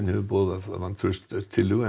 hefur boðað vantrauststillögu